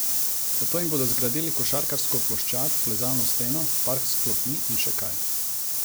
Zato jim bodo zgradili košarkarsko ploščad, plezalno steno, park s klopmi in še kaj.